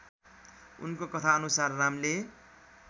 उनको कथनानुसार रामले